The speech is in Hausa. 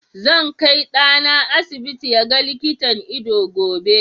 Zan kai ɗana asibiti ya ga likitan ido gobe.